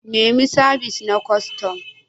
Nemi sabis na kwastam.